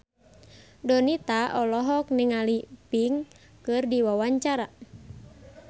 Donita olohok ningali Pink keur diwawancara